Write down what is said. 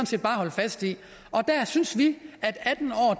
set bare at holde fast i der synes vi at atten år